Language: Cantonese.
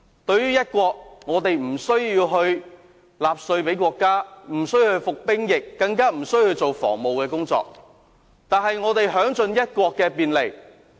在"一國"方面，我們無須向國家繳稅，無須服兵役，無須負責防務工作，卻可享盡"一國"的便利。